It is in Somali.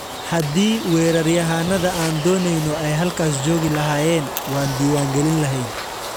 Haddii weeraryahanada aan dooneyno ay halkaas joogi lahaayeen, waan diiwaan gelin lahayn.